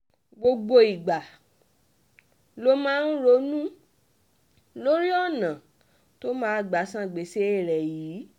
gbogbo ìgbà ló máa ń ronú lórí ọ̀nà tó máa gbà san gbèsè rẹ̀ yìí